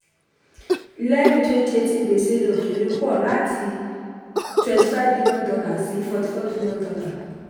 lẹ́yìn twenty eighteen gbèsè ilẹ̀ òkèrè pọ láti [cs twenty five billion dollar sí forty four billion dollar